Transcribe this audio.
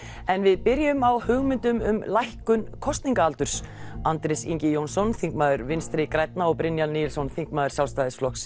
en við byrjum á hugmyndum um lækkun kosningaldurs Andrés Ingi Jónsson þingmaður Vinstri grænna og Brynjar Níelsson þingmaður Sjálfstæðisflokks